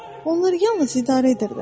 Onlar yalnız idarə edirlər.